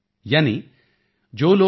चंबे इक दिन ओणा कने महीना रैणा